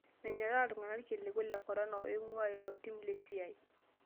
Menyorraa iltung'ana ilkiliku le korona oing'uaailo tim lesiai